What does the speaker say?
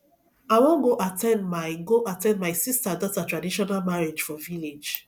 i wan go at ten d my go at ten d my sister daughter traditional marriage for village